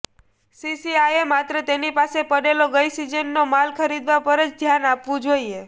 સીસીઆઈએ માત્ર તેની પાસે પડેલો ગઈ સિઝનનો માલ ખરીદવા પર જ ધ્યાન આપવું જોઈએ